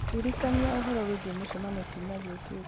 ndirikania ũhoro wĩgiĩ mũcemanio kiumia gĩũkĩte